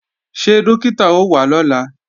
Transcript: Ṣé Dókítà ó wá lọ́la?